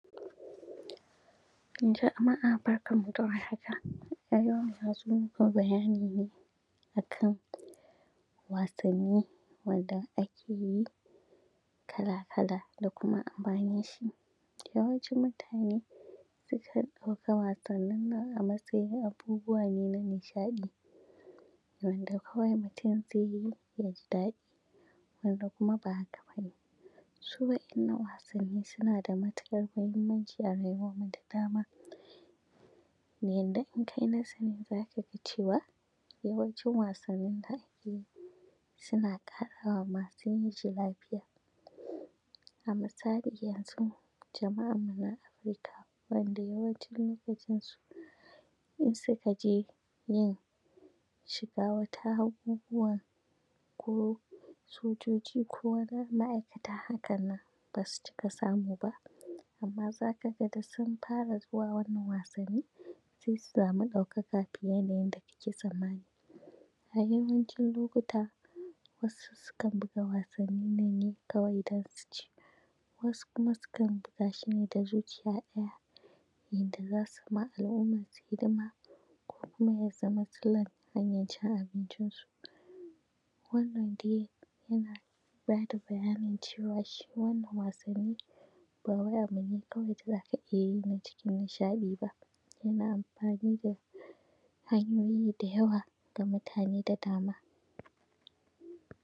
Jama’a barkan mu da war haka, a yau na zo muku da bayani ne a kan wasanni wanda ake yi kala-kala da kuma amfanin shi. Yawancin mutane sukan ɗauka wasannin nan a matsayin abubuwa ne na nishaɗi, wanda kawai mutum ze yi ya ji daɗi wanda kuma ba haka ba ne, su wa’innan wasanni suna da matuƙar mahimmanci a rayuwanmu da dama na yanda in kai nazari za ka ga cewa yawancin wasannin da ake yi suna ƙarawa ma su yin su lafiya. A misali yanzun jama’anmu na Africa wanda yawancin lokacin su in suka je yin shiga wata abubuwan ko sojoji ko wani ma’aikata hakannan ba su cika samu ba amma za ka ga da sun fara zuwa wannan wasanni se su samu ɗaukaka fiye da yanda kake tsammani, a yawancin lokuta wasu sukan buga wasannin nan ne kawai dan su ci. Wasu kuma sukan buga shi ne da zuciya ɗaya yanda za su yi ma al’ummansu hidima ko kuma ya zama silan hanyan cin abincin su wannan de yana ba da bayanin cewa shi wannan wasanni ba wai abu ne kawai da za ka iya yi na cikin nishaɗi ba yana amfani da hanyoyi da yawa ga mutane da dama.